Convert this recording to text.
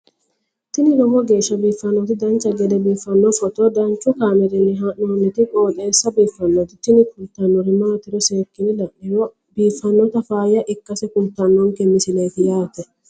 tini lowo geeshsha biiffannoti dancha gede biiffanno footo danchu kaameerinni haa'noonniti qooxeessa biiffannoti tini kultannori maatiro seekkine la'niro biiffannota faayya ikkase kultannoke misileeti yaate